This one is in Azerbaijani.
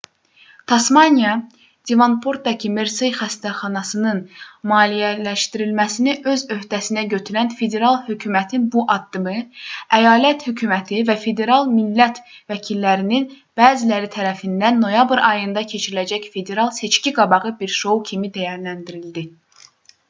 tasmaniya devonportdakı mersey xəstəxanasının maliyyələşdirilməsini öz öhdəsinə götürən federal hökumətin bu addımı əyalət hökuməti və federal millət vəkillərinin bəziləri tərəfindən noyabr ayında keçiriləcək federal seçki-qabağı bir şou kimi dəyərləndirildi